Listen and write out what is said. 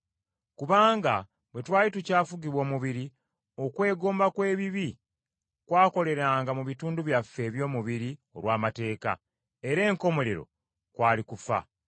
Kubanga bwe twali tukyafugibwa omubiri, okwegomba kw’ebibi kwakoleranga mu bitundu byaffe eby’omubiri olw’amateeka, era enkomerero kwali kufa.